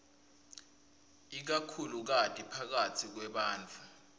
ikakhulukati phakatsi kwebantfu